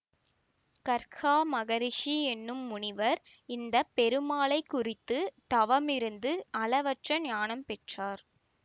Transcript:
கர்ஹா மகரிஷி என்னும் முனிவர் இந்த பெருமாளை குறித்து தவம் இருந்து அளவற்ற ஞானம் பெற்றார்